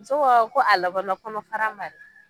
Muso ko ɔ ka labana kɔnɔ fara ma dɛ.